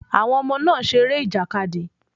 Àwọn ọmọ náà seré ìjàkadì